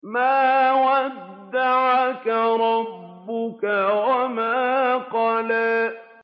مَا وَدَّعَكَ رَبُّكَ وَمَا قَلَىٰ